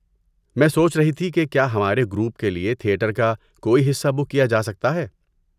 میں سوچ رہی تھی کہ کیا ہمارے گروپ کے لیے تھیٹر کا کوئی حصہ بک کیا جا سکتا ہے؟